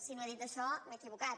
si no he dit això m’he equivocat